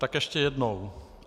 Tak ještě jednou.